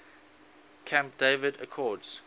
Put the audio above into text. camp david accords